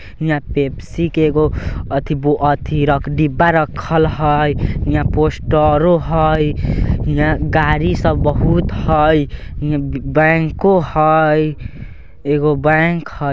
यहाँ पेप्सी के एगो अथी ब अथी डिब्बा रक्खल है| यहाँ पोस्टरो है यहाँ गाड़ी सब बहुत है ई बैंको है एगो बैंक है।